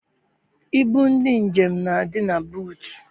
Ibu ndị njem na-adị na buutu.